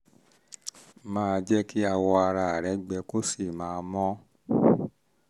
máa jẹ́ kí awọ ara rẹ gbẹ kó sì máa mọ́